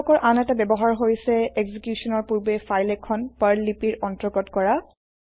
এই ব্লকৰ আন এটা ব্যৱহাৰ হৈছে এক্সিকিউচনৰ পূৰ্বে ফাইল এখন পাৰ্ল লিপিৰ অন্তৰ্গত কৰা